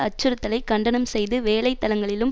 அச்சுறுத்தலை கண்டனம் செய்து வேலை தலங்களிலும்